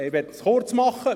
Ich möchte es kurz machen: